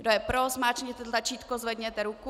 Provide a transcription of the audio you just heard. Kdo je pro, zmáčkněte tlačítko, zvedněte ruku.